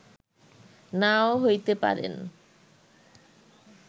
নাও হইতে পারেন